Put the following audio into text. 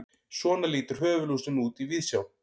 svona lítur höfuðlúsin út í víðsjá